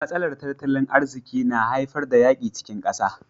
Matsalar tattalin arziki na haifar da yakin cikin kasa.